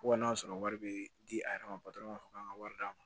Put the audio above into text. Fo ka n'a sɔrɔ wari be di a yɛrɛ ma ka wari d'a ma